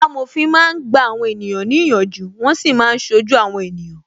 Amòfin máa ń gba àwọn ènìyàn ní ìyànjú, wọn sì máa ń ṣojú àwọn ènìyàn